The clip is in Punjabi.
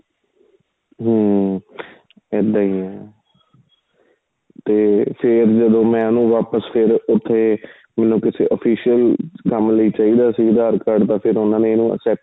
ਹਮ ਇਹਦਾ ਹੀ ਏ ਤੇ ਫ਼ੇਰ ਜਦੋਂ ਮੈਂ ਉਹਨੂੰ ਵਾਪਿਸ ਫ਼ੇਰ ਉਥੇ ਮੈਨੂੰ ਕਿਸੇ official ਕੰਮ ਲਈ ਚਾਹੀਦਾ ਸੀ aadhar card ਦਾ ਫ਼ੇਰ ਉਹਨਾ ਨੇ ਇਹਨਾ ਨੂੰ